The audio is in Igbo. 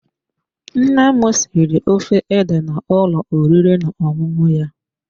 Nne m siri ofe ede n'ụlọ oriri na ọṅụṅụ ya.